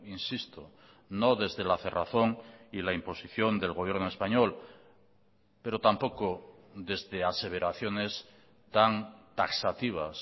insisto no desde la cerrazón y la imposición del gobierno español pero tampoco desde aseveraciones tan taxativas